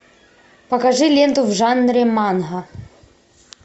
покажи ленту в жанре манго